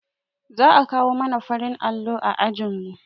Za a kawo mana farin allo a ajinmu